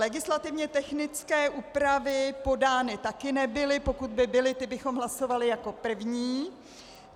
Legislativně technické úpravy podány také nebyly, pokud by byly, ty bychom hlasovali jako první.